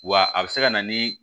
Wa a bɛ se ka na ni